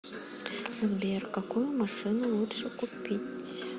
сбер какую машину лучше купить